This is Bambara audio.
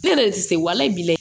Ne yɛrɛ de tɛ se wale bi layɛ